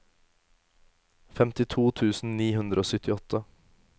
femtito tusen ni hundre og syttiåtte